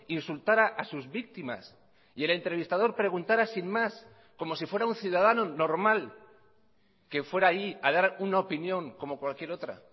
insultara a sus víctimas y el entrevistador preguntara sin más como si fuera un ciudadano normal que fuera ahí a dar una opinión como cualquier otra